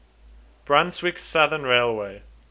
brunswick southern railway